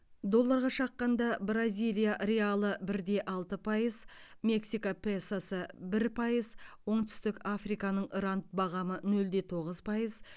долларға шаққанда бразилия реалы бір де алты пайыз мексика песосы бір пайыз оңтүстік африканың ранд бағамы нөл де тоғыз пайыз